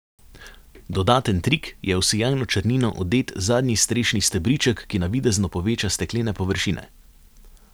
Dodaten trik je v sijajno črnino odet zadnji strešni stebriček, ki navidezno poveča steklene površine.